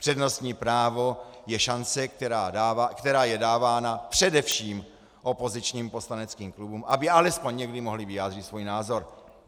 Přednostní právo je šance, která je dávána především opozičním poslaneckým klubům, aby alespoň někdy mohly vyjádřit svůj názor.